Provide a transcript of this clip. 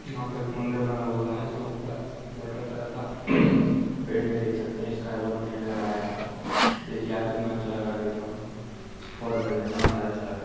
यहाँ पे एक मंदिर बना हुआ हैं जहा ऊपर वाटर कलर का पेंट है देख सकते हैं स्काई बहुत बढ़िया लग रहा हैं यहाँ पे देखिये कितना अच्छा लग रहा हैं देखने में बहुत बढ़िया अच्छा लग रहा हैं।